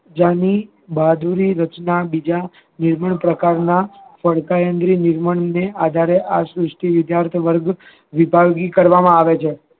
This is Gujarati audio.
રચના બીજા જે પ્રકારના આધારે આ શ્રુષ્ટિ વિદ્યાર્થી વર્ગ